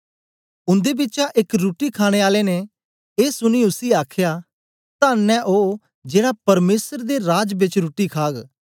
उन्दे बिचा एक रुट्टी खाणे आले ने ए सुनीयै उसी आखया तन्न ऐ ओ जेड़ा परमेसर दे राज बेच रुट्टी खाग